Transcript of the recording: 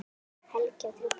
Helgi á þrjú börn.